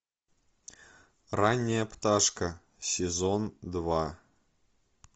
ранняя пташка сезон два